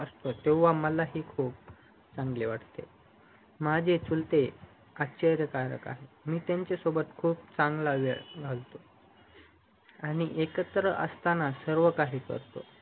असतो तेव्हा माला ही खूप चांगलं वाटते माझे चुलते आश्चर्य कारक आहेत मी त्यांच्या सोबत खूप चांगला वेळ गलवतो आणि एकत्र असताना सर्व काही करतो